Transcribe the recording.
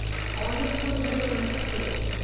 অনেক পরিবর্তন আসছে